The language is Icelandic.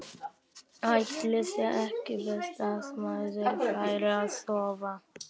Ætli sé ekki best að maður fari að sofa.